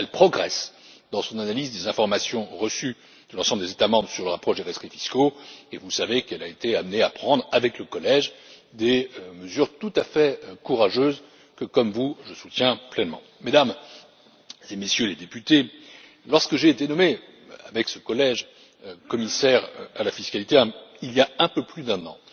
Elle progresse dans son analyse des informations reçues de l'ensemble des États membres sur le rapport concernant les rescrits fiscaux et vous savez qu'elle a été amenée à prendre avec le collège des mesures tout à fait courageuses que, comme vous, je soutiens pleinement. Mesdames et Messieurs les députés, lorsque j'ai été nommé, avec ce collège, commissaire à la fiscalité, il y a un peu plus